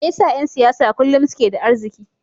Me yasa ’yan siyasa kullum suke da arziki?